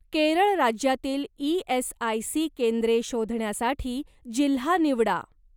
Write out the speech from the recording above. केरळ राज्यातील ई.एस.आय.सी केंद्रे शोधण्यासाठी जिल्हा निवडा.